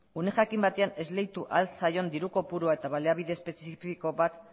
une jakin batean esleitu al zaion diru kopurua eta baliabide espezifiko bat